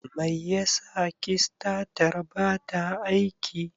Mai yasa kistatar bata aiki?